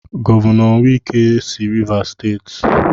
Gọvanọ wike si Rivas Steeti.